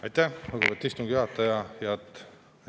Aitäh, lugupeetud istungi juhataja!